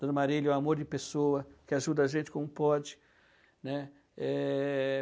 Dona Marília é um amor de pessoa que ajuda a gente como pode, né? Eh...